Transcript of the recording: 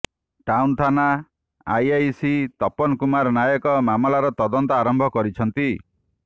town ଥାନା IIC Tapan Kumar Nayak ମାମଲାର ତଦନ୍ତ ଆରମ୍ଭ କରିଛନ୍ତି